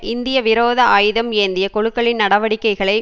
இந்திய விரோத ஆயுதம் ஏந்திய குழுக்களின் நடவடிக்கைகளை